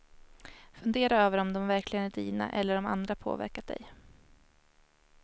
Fundera över om de verkligen är dina eller om andra påverkat dig.